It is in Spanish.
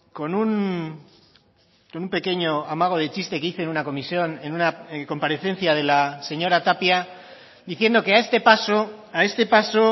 con un pequeño amago de chiste que hice en una comisión en una comparecencia de la señora tapia diciendo que a este paso a este paso